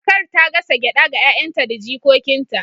kakar ta gasa gyada ga 'ya'yanta da jikokinta